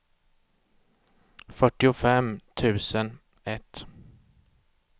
fyrtiofem tusen ett